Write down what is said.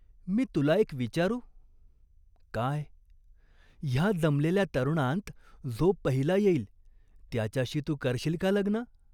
मी तुला एक विचारू ?" "काय?" "ह्या जमलेल्या तरुणांत जो पहिला येईल त्याच्याशी तू करशील का लग्न ?